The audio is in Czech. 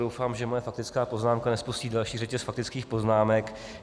Doufám, že moje faktická poznámka nespustí další řetěz faktických poznámek.